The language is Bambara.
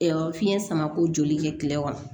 fiɲɛ samako joli kɛ kile kɔnɔ